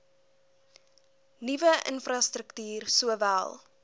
nuwe infrastruktuur sowel